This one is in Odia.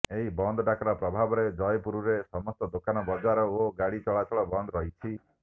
ଏହି ବନ୍ଦ ଡାକରା ପ୍ରଭାବରେ ଜୟପୁରରେ ସମସ୍ତ ଦୋକାନ ବଜାର ଓ ଗାଡି ଚଳାଚଳ ବନ୍ଦ ରହିଛି